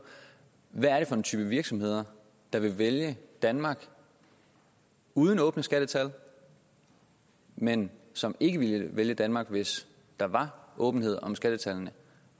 hvad er det for en type af virksomheder der ville vælge danmark uden åbne skattetal men som ikke ville vælge danmark hvis der var åbenhed om skattetallene